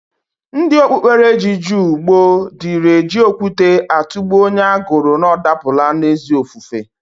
Ndi okpuberechi jụụ gboo diri eji okwute atụgbụ onye agụrụ na ọ dapụla n'ezi ofufe.